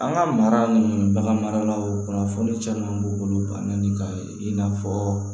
An ka mara ni bagan maralaw kunnafoni caman b'u bolo bana ni ka i n'a fɔɔ